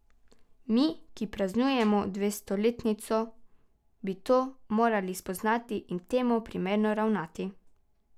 Mi, ki praznujemo dvestoletnico, bi to morali spoznati in temu primerno ravnati.